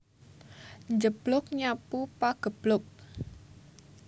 Njeblug nyapu pageblug